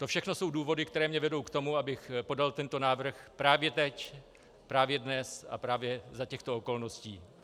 To všechno jsou důvody, které mě vedou k tomu, abych podal tento návrh právě teď, právě dnes a právě za těchto okolností.